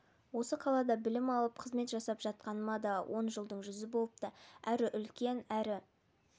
осы қалада білім алып қызмет жасап жатқаныма да он жылдың жүзі болыпты әрі үлкен әрі